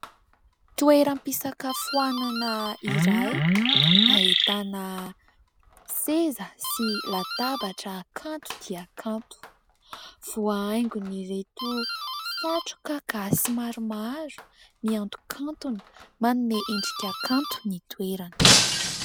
Toeram-pisakafoanana iray, ahitana seza sy latabatra kanto dia kanto. Voahaingon'ireto satroka gasy maromaro mihantokantona manome endrika kanto ny toerana.